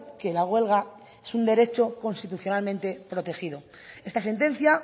que la huelga es un derecho constitucionalmente protegido esta sentencia